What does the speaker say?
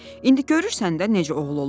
İndi görürsən də necə oğul olub.